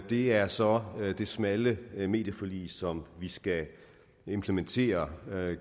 det er så det smalle medieforlig som vi skal implementere